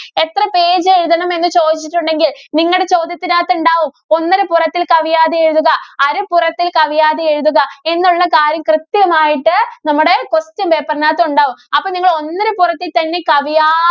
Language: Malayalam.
എത്ര page എഴുതണം എന്ന് ചോദിച്ചിട്ടുണ്ടെങ്കില്‍ നിങ്ങടെ ചോദ്യത്തിനകത്ത് ഉണ്ടാവും ഒന്നരപ്പുറത്തില്‍ കവിയാതെ എഴുതുക, അരപ്പുറത്തില്‍ കവിയാതെ എഴുതുക, എന്നുള്ള കാര്യം കൃത്യമായിട്ട് നമ്മുടെ question paper നകത്ത് ഒണ്ടാവും. അപ്പോ നിങ്ങള് ഒന്നരപ്പുറത്തില്‍ തന്നെ കവിയാ~